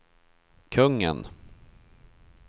kungen